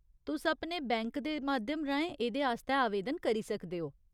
तुस अपने बैंक दे माध्यम राहें एह्देआस्तै आवेदन करी सकदे ओ।